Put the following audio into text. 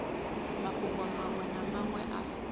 mafhungo manwe na manwe a